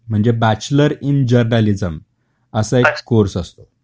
म्हणजे bachelor in journalism अस एक कोर्स असतो.